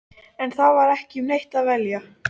En það var ekki um neitt að velja.